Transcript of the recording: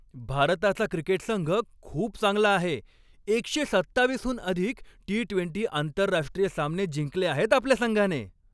भारताचा क्रिकेट संघ खूप चांगला आहे. एकशे सत्तावीसहून अधिक टी ट्वेंटी आंतरराष्ट्रीय सामने जिंकले आहेत आपल्या संघाने.